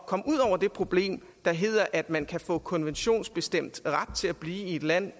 komme ud over det problem der hedder at man kan få konventionsbestemt ret til at blive i et land